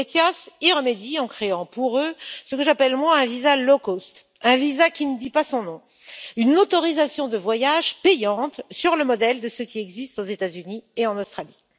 ETIAS y remédie en créant pour eux ce que j'appelle un visa low cost un visa qui ne dit pas son nom, une autorisation de voyage payante, sur le modèle de ce qui existe aux États Unis et en Australie.